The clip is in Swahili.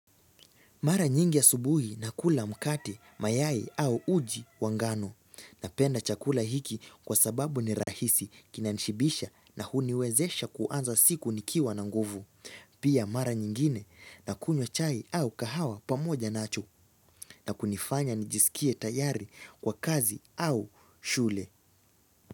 Mara nyingi asubuhi na kula mkate, mayai au uji wa ngano. Napenda chakula hiki kwa sababu ni rahisi kina nishibisha na huniwezesha kuanza siku nikiwa na nguvu. Pia mara nyingine na kunywa chai au kahawa pamoja nacho na kunifanya nijisikie tayari kwa kazi au shule.